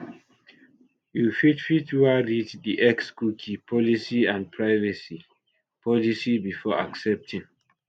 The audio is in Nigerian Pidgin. you fit fit wan read di xcookie policyandprivacy policybefore accepting